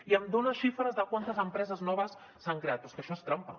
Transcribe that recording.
i em dona xifres de quantes empreses noves s’han creat però és que això és trampa